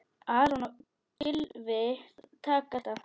Aron og Gylfi taka þetta.